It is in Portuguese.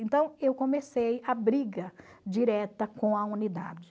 Então, eu comecei a briga direta com a unidade.